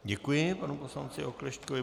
Děkuji panu poslanci Oklešťkovi.